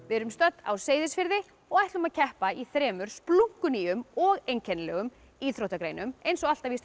við erum stödd á Seyðisfirði og ætlum að keppa í þremur splunkunýjum og einkennilegum íþróttagreinum eins og alltaf í